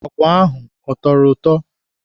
Agwa ahụ a tọrọ ụtọ?